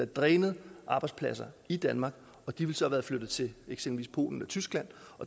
drænet arbejdspladser i danmark og de ville så have været flyttet til eksempelvis polen og tyskland